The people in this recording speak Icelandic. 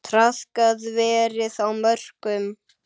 Traðkað verið á mörkum.